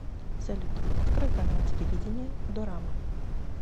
салют открой канал телевидения дорама